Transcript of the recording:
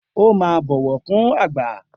O máa ń bọ̀wọ̀ fún àgbà